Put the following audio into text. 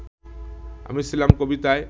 আমি ছিলাম কবিতায়